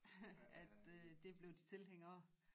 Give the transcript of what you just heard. At øh det blev de tilhængere af